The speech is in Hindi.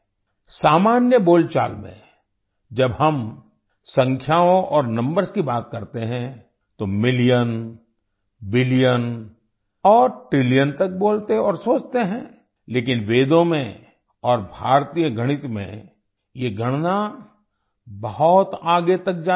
सामान्य बोलचाल में जब हम संख्याओं और नंबर्स की बात करते हैं तो मिलियन बिलियन और ट्रिलियन तक बोलते और सोचते हैं लेकिन वेदों में और भारतीय गणित में ये गणना बहुत आगे तक जाती है